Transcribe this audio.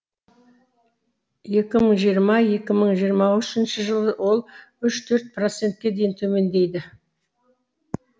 екі мың жиырма екі мың жиырма үшінші жылы ол үш төрт процентке дейін төмендейді